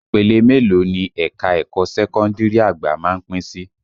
Ìpele mélòó ni ẹ̀ka ẹ̀kọ́ sẹ́kọ́ndìrì àgbà má ń pín sí?